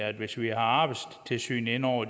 at hvis vi har arbejdstilsynet inde over